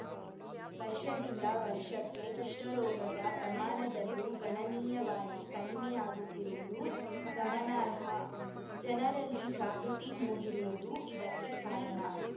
ವರ್ಷದಿಂದ ವರ್ಷಕ್ಕೆ ಕುಷ್ಠರೋಗದ ಪ್ರಮಾಣದಲ್ಲೂ ಗಣನೀಯವಾಗಿ ಕಡಿಮೆಯಾಗುತ್ತಿರುವುದು ಗಮನಾರ್ಹ ಜನರಲ್ಲಿ ಜಾಗೃತಿ ಮೂಡಿರುವುದೂ ಇದಕ್ಕೆ ಕಾರಣ